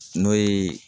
N'o ye